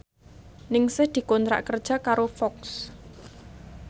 Ningsih dikontrak kerja karo Fox